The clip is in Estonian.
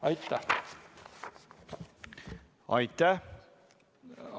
Aitäh!